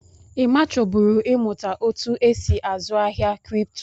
Emma chọburu ị mụta otú e si azụ ahịa kripto.